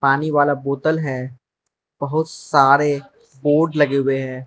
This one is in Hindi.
पानी वाला बोतल है बहुत सारे पॉड लगे हुए है।